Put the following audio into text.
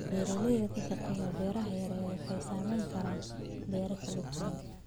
Beeraleyda ka shaqeysa beeraha yaryar waxay sameyn karaan beero kala duwan.